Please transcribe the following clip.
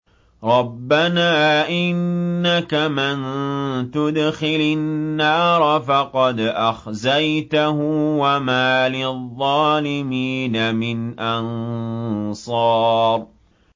رَبَّنَا إِنَّكَ مَن تُدْخِلِ النَّارَ فَقَدْ أَخْزَيْتَهُ ۖ وَمَا لِلظَّالِمِينَ مِنْ أَنصَارٍ